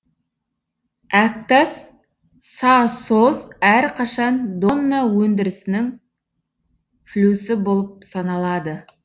әктас сасо әрқашан домна өндірісінің флюсі болып саналады